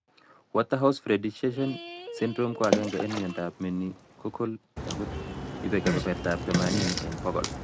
WaterhouseFriderichsen syndrome ko agenge en myondab meningococcal ago ibe kebebertab themanini en bogol